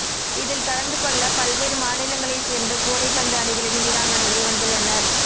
இதில் கலந்து கொள்ள பல்வேறு மாநிலங்களை சேர்ந்த கூடைப்பந்து அணிகளின் வீராங்கனைகள் வந்துள்ளனர்